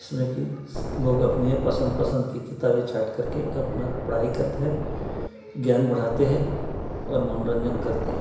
इसमें कि लोग अपने पसंद-पसंद की किताब छाँट कर के अपना पढ़ाई करत है ज्ञान बढ़ाते है और मनोरंजन करते है।